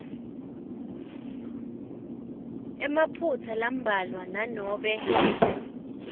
emaphutsa lambalwa nanobe